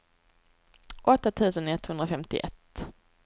åtta tusen etthundrafemtioett